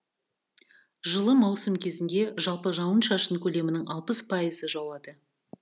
жылы маусым кезінде жалпы жауын шашын көлемінің алпыс пайызы жауады